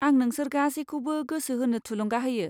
आं नोंसोर गासैखौबो गोसो होनो थुलुंगा होयो।